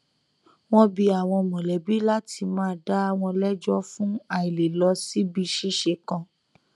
wọn bi àwọn mọlẹbi láti má dàá wọn lẹjọ fún àìlè lọ síbi ṣíṣe kan